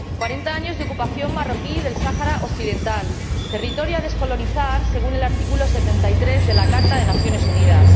Cuarenta años de ocupación marroquí del Sáhara Occidental, territorio a descolonizar según el artículo 73 de la Carta de las Naciones Unidas.